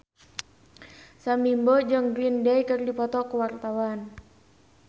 Sam Bimbo jeung Green Day keur dipoto ku wartawan